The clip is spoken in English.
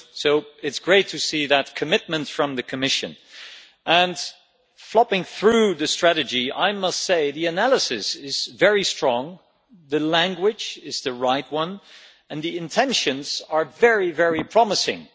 So it is great to see that commitment from the Commission, and leafing through the strategy, I must say the analysis is very strong, the language is right and the intentions are very, very promising.